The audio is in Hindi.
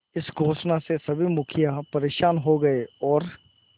इस घोषणा से सभी मुखिया परेशान हो गए और